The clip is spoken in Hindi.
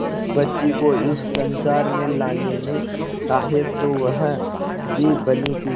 उस बच्ची को इस संसार में लाने में सहायक तो वह भी बनी थी